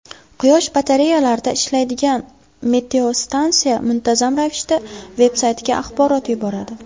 Quyosh batareyalarida ishlaydigan meteostansiya muntazam ravishda vebsaytga axborot yuboradi.